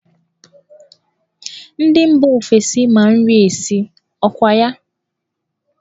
Ndị mba ofesi ma nri esi, ọ kwa ya?